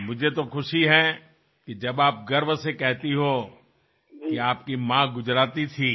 और मुझे तो खुशी है कि जब आप गर्व से कहती हो कि माँ गुजराती थी